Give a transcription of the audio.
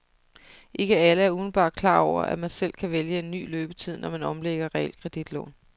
Ikke alle er umiddelbart klar over, at man selv kan vælge en ny løbetid, når man omlægger realkreditlån.